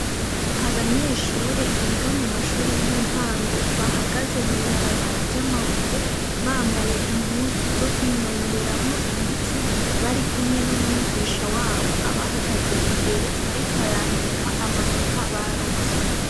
Abanyeshure biga mumashure yintango bahagaze mw'ibarabara ry'amabuye bambaye impuzu zokwinonoreramwo imitsi barikumwe n'umwigisha wabo ariko arandika amanota barose.